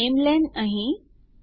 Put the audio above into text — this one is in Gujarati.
તો નામેલેન અહીં